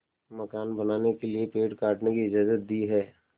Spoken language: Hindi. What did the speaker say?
मकान बनाने के लिए पेड़ काटने की इजाज़त दी है